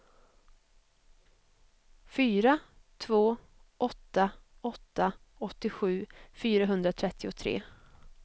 fyra två åtta åtta åttiosju fyrahundratrettiotre